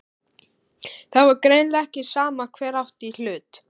Það var greinilega ekki sama hver átti í hlut.